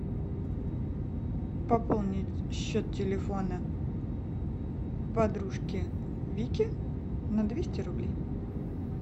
пополнить счет телефона подружки вики на двести рублей